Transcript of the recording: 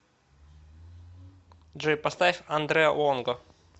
джой поставь андре лонго